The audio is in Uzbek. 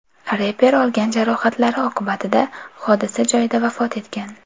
Reper olgan jarohatlari oqibatida hodisa joyida vafot etgan.